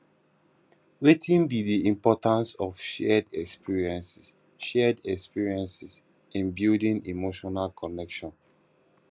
wetin be di importance of shared experiences shared experiences in building emotional connection